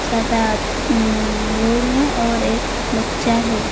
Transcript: सात आठ न लोग हैं और एक बच्चा है।